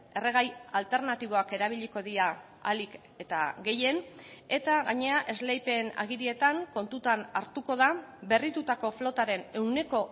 erregai alternatiboak erabiliko dira ahalik eta gehien eta gainera esleipen agirietan kontutan hartuko da berritutako flotaren ehuneko